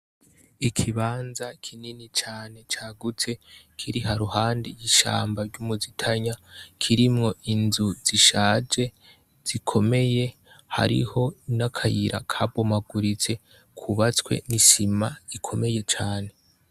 Ikibanza kinini cane cagutse, kiri ha ruhande ishamba ry'umuzitanya, kirimwo inzu zishaje, zikomeye, hariho n'akayira kabomaguritse kubatswe n'isima ikomeye cane.